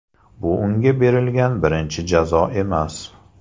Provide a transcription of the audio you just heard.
Bu unga berilgan birinchi jazo emas.